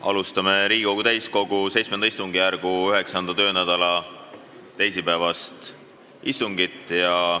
Alustame Riigikogu täiskogu VII istungjärgu 9. töönädala teisipäevast istungit.